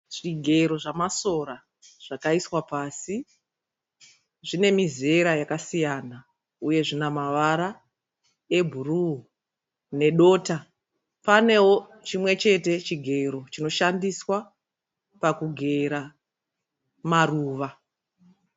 Zvigero zvamasora zvakaiswa pasi. Zvine mizera yakasiyana, uye zvina mavara ebhuruu nedota. Panewo chimwe chete chigero chinoshandiswa pakugera maruva.